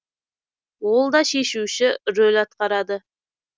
ол да шешуші рөл атқарады